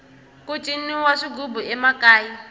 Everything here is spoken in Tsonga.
ku ciniwa swighubu emakaya